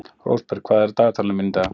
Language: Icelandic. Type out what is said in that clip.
Rósberg, hvað er á dagatalinu mínu í dag?